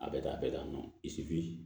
A bɛ taa a bɛɛ dan